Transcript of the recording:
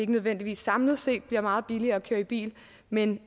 nødvendigvis samlet set bliver meget billigere at køre i bil men